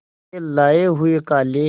के लाए हुए काले